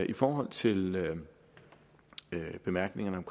i forhold til bemærkningerne om